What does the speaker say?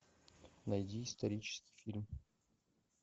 найди исторический фильм